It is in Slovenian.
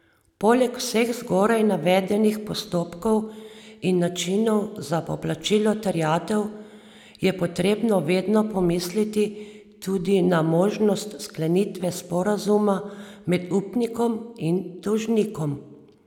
Poleg vseh zgoraj navedenih postopkov in načinov za poplačilo terjatev je potrebno vedno pomisliti tudi na možnost sklenitve sporazuma med upnikom in dolžnikom.